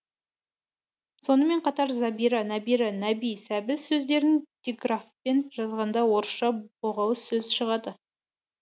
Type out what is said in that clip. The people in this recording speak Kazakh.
сонымен қатар зәбира нәбира нәби сәбіз сөздерін диграфпен жазғанда орысша боғауыз сөз шығады